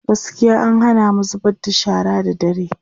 gaskiya an Hana mu zubar da shara da dare